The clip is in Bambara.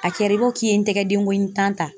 A kɛra i b'a fɔ k'i ye n tɛgɛ denkɔni tan ta.